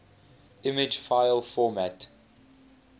image file format